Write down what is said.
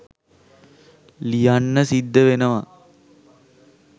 ලියන්න සිද්ද වෙනව